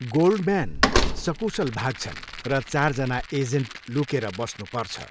Goldman सकुशल भाग्छन्, र चारजना एजेन्ट लुकेर बस्नु पर्छ।